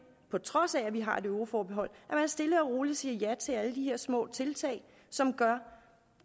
på trods af at vi har et euroforbehold at man stille og roligt siger ja til alle de her små tiltag som gør